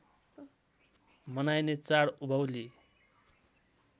मनाइने चाड उभौली